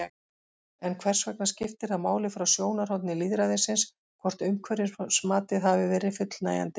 En hvers vegna skiptir það máli frá sjónarhóli lýðræðisins hvort umhverfismatið hafi verið fullnægjandi?